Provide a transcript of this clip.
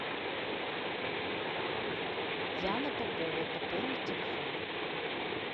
яна попова пополнить телефон